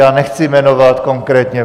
Já nechci jmenovat konkrétně.